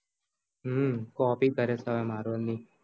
હમ copy કરે છે marvel ની